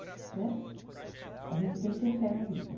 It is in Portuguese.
Né, a gente tem que ter fé na vida.